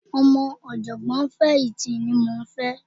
Ọmọ ọ̀jọ̀gbọ́n fẹ̀yìntì ni mò ń fẹ́